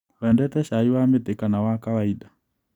Wendete cai wa mĩtĩ kana wa kawainda.